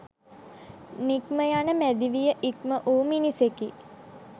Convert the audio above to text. නික්මයන මැදි විය ඉක්මවූ මිනිසෙකි.